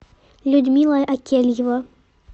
людмила акельева